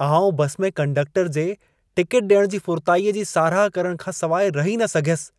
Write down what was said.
आउं बसि में कंडक्टर जे टिकेट ॾियण जी फुरताईअ जी साराह करण खां सवाइ रही न सघियसि।